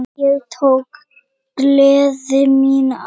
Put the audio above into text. Ég tók gleði mína aftur.